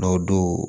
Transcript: Dɔw don